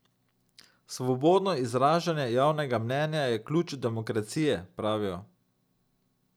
Svobodno izražanje javnega mnenja je ključ demokracije, pravijo.